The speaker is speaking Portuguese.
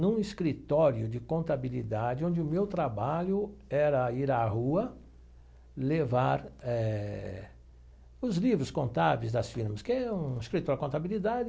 num escritório de contabilidade, onde o meu trabalho era ir à rua, levar eh os livros contábeis das firmas, que é um escritório de contabilidade.